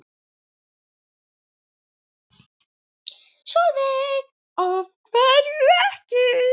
Sólveig: Af hverju ekki?